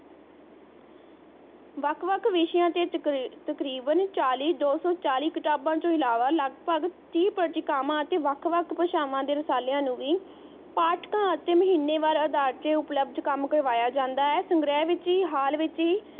ਵੱਖ ਵੱਖ ਵਿਸ਼ਿਆਂ ਚ ਤਕਰੀਬਨ ਚਾਲੀ ਦੋਸੋਂ ਚਾਲੀ ਕਿਤਾਬਾਂ ਤੋਂ ਇਲਾਵਾਂ ਲਗਭਗ ਤੀਹ ਪ੍ਰਤੀਕਾਮਾ ਅਤੇ ਵੱਖ ਵੱਖ ਭਾਸ਼ਾਵਾਂ ਦੇ ਰਸਾਲਿਆਂ ਨੂੰ ਵੀ ਪਾਠਕਾਂ ਅਤੇ ਮਹੀਨੇ ਵਾਰ ਦੇ ਅਧਾਰ ਤੇ ਉਪਲੱਭਧ ਕੰਮ ਕਰਵਾਇਆ ਜਾਂਦਾ ਹੈ ਸੰਗ੍ਰਹਿ ਵਿਚ ਹੀ ਹਾਲ ਵਿਚ ਹੀ